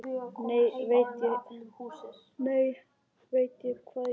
Nú veit ég hvað ég vil.